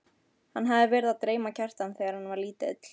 Hann hafði verið að dreyma Kjartan þegar hann var lítill.